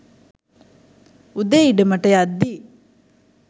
උදේ ඉඩමට යද්දි